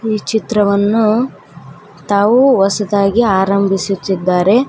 ಈ ಚಿತ್ರವನ್ನು ತಾವು ಹೊಸದಾಗಿ ಆರಂಭಿಸುತ್ತಿದರೆ.